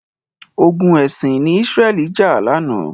Ogun ẹ̀sìn ni Israel jà lánàá.